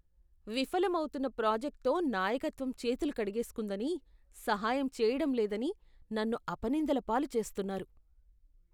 విఫలమౌతున్న ప్రాజెక్ట్తో నాయకత్వం చేతులు కడిగేస్కుందని, సహాయం చేయడం లేదని నన్ను అపనిందల పాలు చేస్తున్నారు.